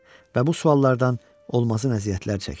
Və bu suallardan olmasın əziyyətlər çəkirdim.